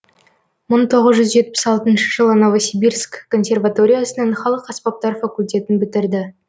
мың тоғыз жүз жетпіс алтыншы жылы новосибирск консерваториясының халық аспаптар факультетін бітірді